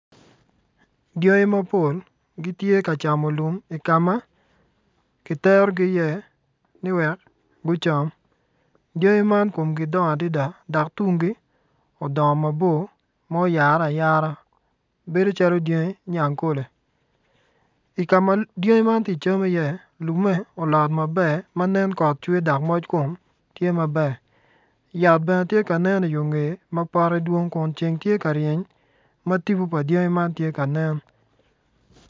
Dyangi mapol gitye ka camo lum i ka ma giterogi iye niwek gucam dyangi man kumgi dongo adida dok tumgi odongo mabor myare ayara bedo calo dyangi nyangkole I ka ma dyangi man ti cam iye lumme olot maber ma nen kot cwer dok moc kom tye maber yat bene tye ka nen i yo ngeye ma pote dwong Kun ceng tye ka reny ma tibu pa dyangi man tye ka nen.